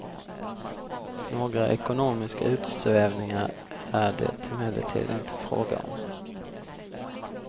Några ekonomiska utsvävningar är det emellertid inte fråga om.